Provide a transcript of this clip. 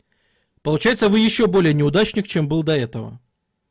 получается вы ещё более неудачник чем был до этого